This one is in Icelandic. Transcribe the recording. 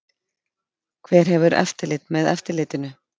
Hver hefur eftirlit með eftirlitinu?